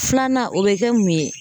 Filanan o bɛ kɛ mun ye